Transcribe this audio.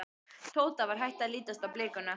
Tóta var hætt að lítast á blikuna.